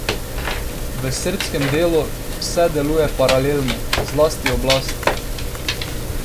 V srbskem delu vse deluje paralelno, zlasti oblast.